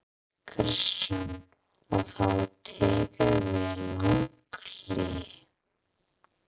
Kristján: Og þá tekur við langt hlé?